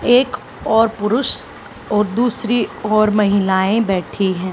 एक ओर पुरुष और दूसरी ओर महिलाएं बैठी हैं।